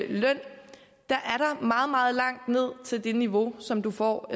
der er meget meget langt ned til det niveau som du får